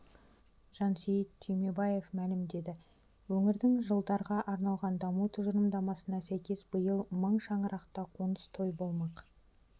жансейіт түймебаев мәлімдеді өңірдің жылдарға арналған даму тұжырымдамасына сәйкес биыл мың шаңырақта қоныс тойы болмақ